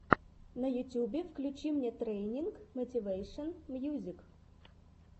на ютубе включи мне трайнинг мотивэйшен мьюзик